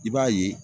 I b'a ye